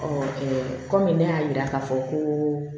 kɔmi ne y'a yira k'a fɔ koo